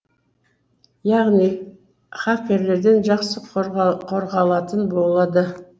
яғни хакерлерден жақсы қорғалатын болады